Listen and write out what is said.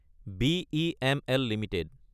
BEML Ltd